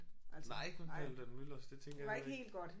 Nej ikke ved Paludan-Müllers det tænker jeg jo ikke